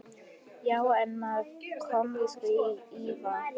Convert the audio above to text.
Já, en með kómísku ívafi.